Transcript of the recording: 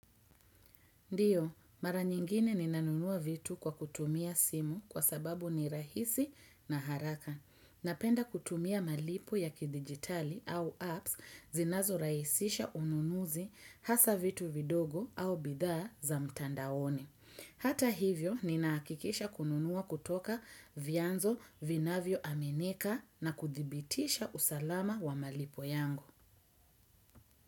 Ndio, mara nyingine ninanunua vitu kwa kutumia simu kwa sababu ni rahisi na haraka. Napenda kutumia malipo ya kidigitali au apps zinazorahisisha ununuzi hasa vitu vidogo au bidhaa za mtandaoni. Hata hivyo, ninahakikisha kununua kutoka vyanzo vinavyoaminika na kudhibitisha usalama wa malipo yangu.